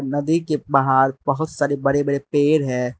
नदी के बहार बहुत सारे बड़े पेड़ है।